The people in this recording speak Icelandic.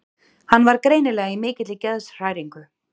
Hann var greinilega í mikilli geðshræringu.